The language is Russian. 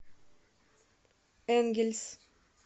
энгельс